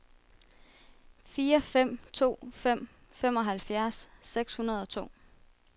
fire fem to fem femoghalvfjerds seks hundrede og to